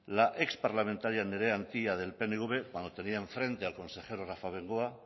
la exparlamentaria andrea antía del pnv cuando tenía en frente al consejero rafa bengoa